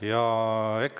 Vabandust!